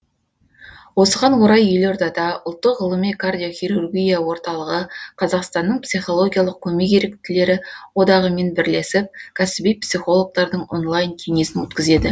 осыған орай елордада ұлттық ғылыми кардиохирургия орталығы қазақстанның психологиялық көмек еріктілері одағымен бірлесіп кәсіби психологтардың онлайн кеңесін өткізеді